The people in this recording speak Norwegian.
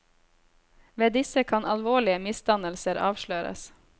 Ved disse kan alvorlige misdannelser avsløres.